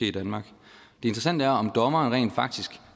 i danmark det interessante er om dommerne rent faktisk